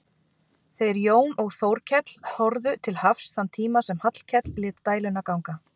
Þeir Jón og Þórkell horfðu til hafs þann tíma sem Hallkell lét dæluna ganga.